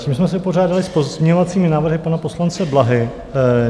Tím jsme se vypořádali s pozměňovacími návrhy pana poslance Blahy.